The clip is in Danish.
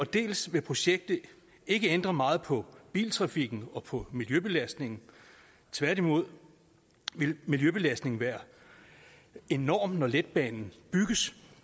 dels vil projektet ikke ændre meget på biltrafikken og på miljøbelastningen tværtimod vil miljøbelastningen være enorm når letbanen bygges